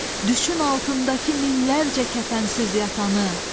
Düşün altındakı minlərcə kəfənsiz yatanı.